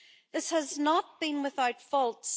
This has not been without faults.